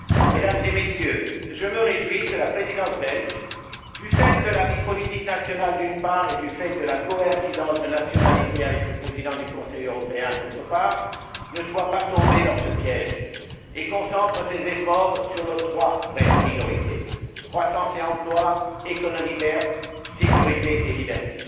Mesdames et Messieurs, je me réjouis que la présidence belge, du fait de la vie politique nationale, d'une part, et du fait de la coïncidence de nationalité avec le président du Conseil européen, d'autre part, ne soit pas tombée dans ce piège et concentre ses efforts sur nos trois vraies priorités croissance et emploi, économie verte, sécurité et liberté.